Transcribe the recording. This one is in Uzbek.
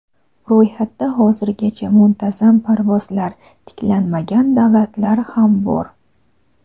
Ro‘yxatda hozirgacha muntazam parvozlar tiklanmagan davlatlar ham bor.